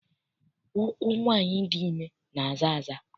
Ụkwụ nwaanyị dị ime na-aza aza.